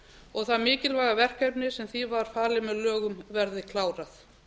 og það mikilvæga verkefni sem því var falið með lögum verði klárað